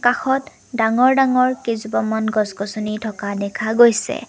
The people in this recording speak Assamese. কাষত ডাঙৰ ডাঙৰ কেইজোপামান গছ গছনি থকা দেখা গৈছে।